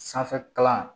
Sanfɛ kalan